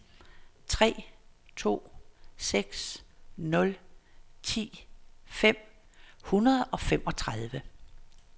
tre to seks nul ti fem hundrede og femogtredive